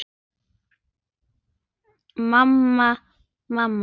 Mamma, mamma.